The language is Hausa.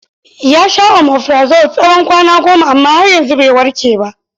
Ya sha omifirazol tsawon kwana goma amma har yanzu bai warke ba.